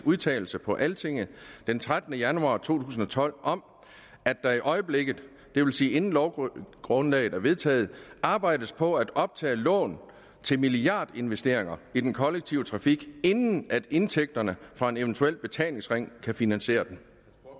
udtalelse på altinget den trettende januar to tusind og tolv om at der i øjeblikket det vil sige inden lovgrundlaget er vedtaget arbejdes på at optage lån til milliardinvesteringer i den kollektive trafik inden indtægterne fra en eventuel betalingsring kan finansiere dem